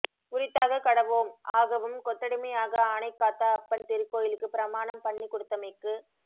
உரித்தாகக் கடவோம் ஆகவும் கொத்தடிமை ஆக ஆனைக்காத்த அப்பன் திருக்கோயிலுக்கு பிரமாணம் பண்ணிக்குடுத்தமைக்கு